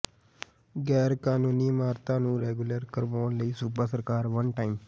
ਗੈਰ ਕਾਨੂੰਨੀ ਇਮਾਰਤਾਂ ਨੂੰ ਰੈਗੂਲਰ ਕਰਵਾਉਣ ਲਈ ਸੂਬਾ ਸਰਕਾਰ ਵਨ ਟਾਈਮ